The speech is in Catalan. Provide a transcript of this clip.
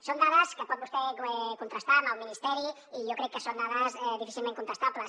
són dades que pot vostè contrastar amb el ministeri i jo crec que són dades difícilment contestables